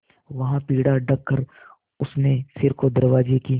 वहाँ पीढ़ा रखकर उसने सिर को दरवाजे की